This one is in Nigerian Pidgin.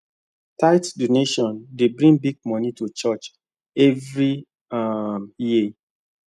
tithe donations dey bring big money to church every um year